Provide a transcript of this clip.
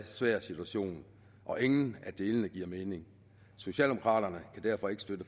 svær situation og ingen af delene giver mening socialdemokraterne kan derfor ikke støtte